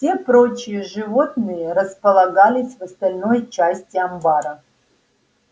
все прочие животные располагались в остальной части амбара